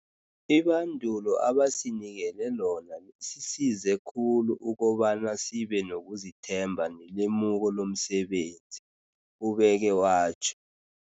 Ibandulo abasinikele lona lisisize khulu ukobana sibe nokuzithemba nelemuko lomsebenzi,'' ubeke watjho.